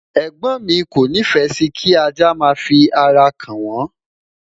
ẹgbọn mi o ni fe Si kí ajá má fi ará ka n won